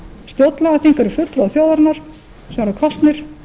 stjórnlagaþing eru fulltrúar þjóðarinnar eru kosnir